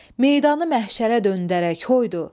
Meydanı məhşərə döndərək, hoydu!